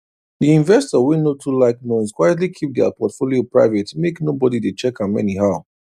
the investor wey no too like noise quietly keep their portfolio private make nobody dey check am anyhow